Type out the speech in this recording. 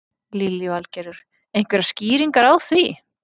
Lillý Valgerður: Einhverjar skýringar á því?